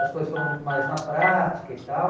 As coisas foram muito mais na prática e tal.